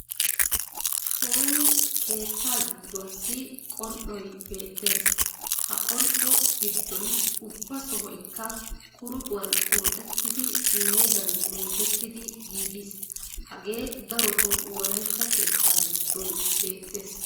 Sooni keettaa gidduwassi qol"oy beettees. Ha qol"o giddoy ubba sohoykka quruxuwan quruxettidi meegan meegettidi giigiis. Hagee darotoo wolaytta keettaa giddon beettees.